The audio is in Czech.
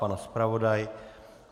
Pan zpravodaj?